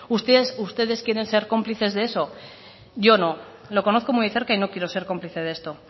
ustedes quieren ser cómplices de eso yo no lo conozco muy de cerca y no quiero ser cómplice de esto